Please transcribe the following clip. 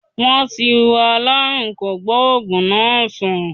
Wọ́n ti wo aláàrùn kògbóògù náá sán